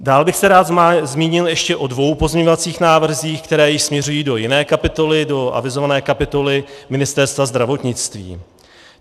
Dál bych se rád zmínil ještě o dvou pozměňovacích návrzích, které již směřují do jiné kapitoly, do avizované kapitoly Ministerstva zdravotnictví.